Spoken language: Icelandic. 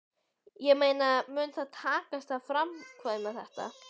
Ég meina mun það takast að framkvæma þetta?